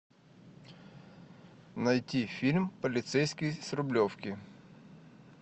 найти фильм полицейский с рублевки